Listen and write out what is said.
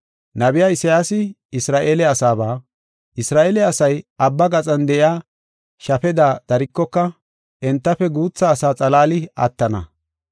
Nabiya Isayaasi Isra7eele asaaba, “Isra7eele asay abba gaxan de7iya shafeda darikoka, entafe guutha asa xalaali attana.